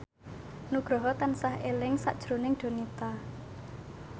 Nugroho tansah eling sakjroning Donita